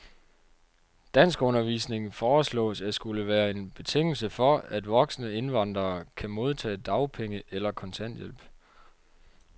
Danskundervisning foreslås at skulle være en betingelse for, at voksne indvandrere kan modtage dagpenge eller kontanthjælp.